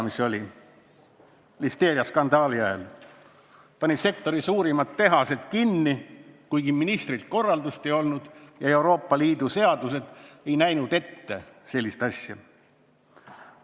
–, mis pani listeeriaskandaali ajal sektori suurimad tehased kinni, kuigi ministrilt korraldust ei olnud ja Euroopa Liidu seadused sellist asja ette ei näinud.